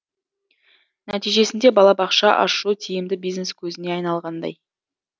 нәтижесінде балабақша ашу тиімді бизнес көзіне айналғандай